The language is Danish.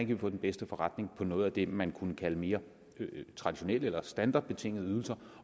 vi få den bedste forretning i med noget af det man kunne kalde mere traditionelle ydelser eller standardydelser